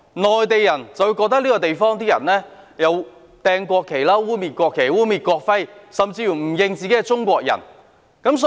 內地人則覺得這個地方的人扔擲和污衊國旗、污衊國徽，甚至不承認自己是中國人。